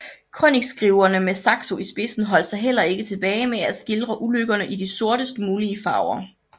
Krønikeskrivere med Saxo i spidsen holdt sig heller ikke tilbage med at skildre ulykkerne i de sortest mulige farver